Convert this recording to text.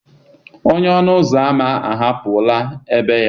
Onye ọnụ ụzọ ámá hapụrụ ébé ya.